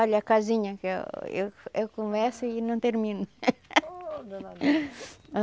Olha, a casinha que eu eu eu começo e não termino.